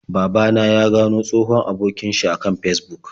Baba na ya gano wani tsohon abokin sh a kan Fesbuk.